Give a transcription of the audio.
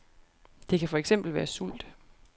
Det kan for eksempel være sult.